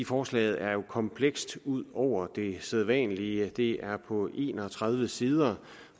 forslaget er komplekst ud over det sædvanlige det er på en og tredive sider